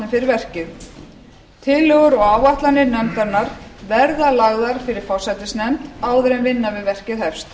fyrir verkið tillögur og áætlanir nefndarinnar verða lagðar fyrir forsætisnefnd áður en vinna við verkið hefst